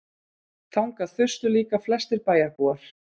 Þangað þustu líka flestir bæjarbúar.